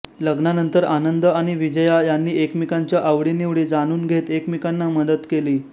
लग्नानंतर आनंद आणि विजया यांनी एकमेकांच्या आवडीनिवडी जाणून घेत एकमेकांना मदत केली